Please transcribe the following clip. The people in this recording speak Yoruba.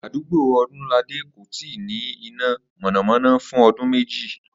Àdúgbò Olúnládé kò ì tíì nĩ iná mò̩nàmó̩ná fún o̩dún méjì